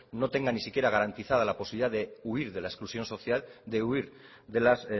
no tenga ni siquiera garantizada la posibilidad de huir de la exclusión social de huir de las